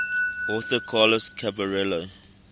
author carlos caballero